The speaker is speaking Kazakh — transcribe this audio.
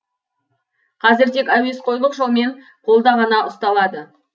қазір тек әуесқойлық жолмен қолда ғана ұсталады